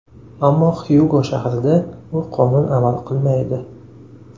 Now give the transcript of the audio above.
Ammo Xyugo shahrida bu qonun amal qilmaydi.